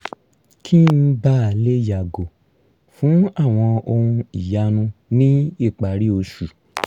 kí n bàa lè yàgò fún àwọn ohun ìyanu ní ìparí oṣù